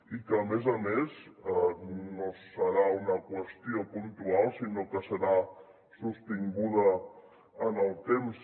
i que a més a més no serà una qüestió puntual sinó que serà sostinguda en el temps